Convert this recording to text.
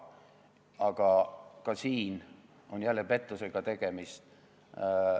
Aga ka siin on jälle pettusega tegemist.